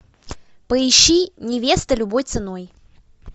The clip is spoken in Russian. поищи невеста любой ценой